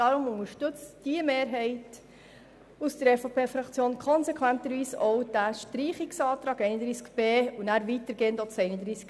Deshalb unterstützt diese Mehrheit der EVP-Fraktion konsequenterweise auch den Streichungsantrag zu Artikel 31b und ebenso denjenigen zu Artikel 31c.